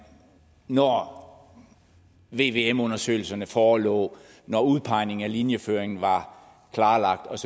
når vvm undersøgelserne forelå og når udpegningen af linjeføringen var klarlagt og